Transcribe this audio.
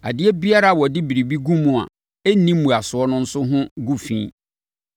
Adeɛ biara a wɔde biribi gu mu a ɛnni mmuasoɔ no nso ho gu fi.